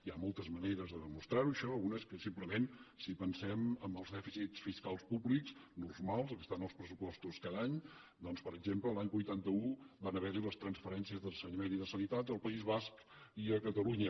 hi ha moltes maneres de demostrar ho això una és que simplement si pensem en els dèficits fiscals públics normals els que estan als pressupostos cada any doncs per exemple l’any vuitanta un van haver hi les transferències d’ensenyament i de sanitat al país basc i a catalunya